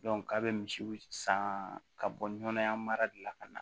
ka be misiw san ka bɔ nɔnɔyanya mara de la ka na